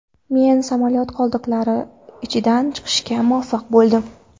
Men samolyot qoldiqlari ichidan chiqishga muvaffaq bo‘ldim.